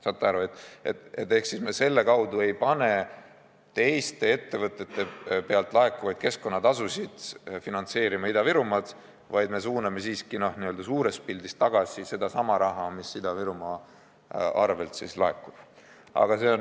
Saate aru, me selle kaudu ei pane teiste ettevõtete pealt laekuvaid keskkonnatasusid finantseerima Ida-Virumaad, aga me suuname siiski n-ö suures pildis tagasi sedasama raha, mis Ida-Virumaa arvelt laekub.